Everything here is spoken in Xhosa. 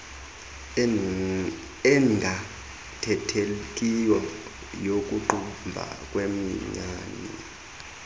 engaathethekiyo yokuqumba kweminyanya